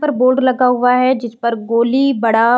पर बोर्ड लगा हुआ है जिसपर गोली बड़ा --